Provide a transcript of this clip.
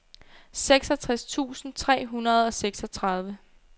seksogtres tusind tre hundrede og seksogtredive